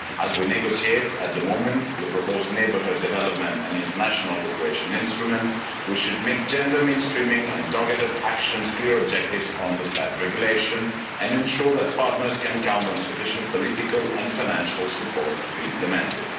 As we negotiate at the moment the proposed neighbourhood development and international cooperation instrument we should make gender mainstreaming and targeted actions clear objectives under that regulation and ensure that partners can count on sufficient political and financial support to implement it.